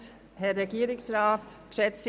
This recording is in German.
Wir sprechen heute über das SDPG.